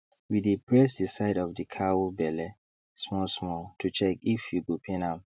we dey press the side of the cow belle small small to check if e go pain am